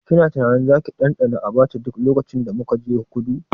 Kina tunanin zaki ɗanɗana Abacha duk lokacin da muka je kudu?